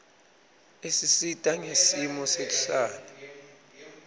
isisita ngesimo sekuhlala